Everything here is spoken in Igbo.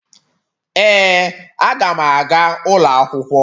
Ee, Aga m aga ụlọ akwụkwọ